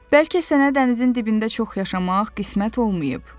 Bəlkə sənə dənizin dibində çox yaşamaq qismət olmayıb.